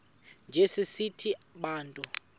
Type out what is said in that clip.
njana sithi bantu